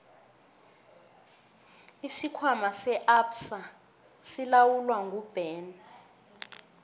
isikhwama se absa silawulwa nguben